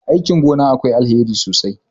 aikin gona akwai alheri sosai